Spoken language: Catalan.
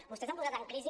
vostès han posat en crisi